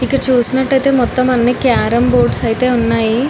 ఇక్కడ చూసుకున్నట్టైతే మొత్తం అన్నీ క్యారం బోర్డ్స్ అయితే ఉన్నాయి.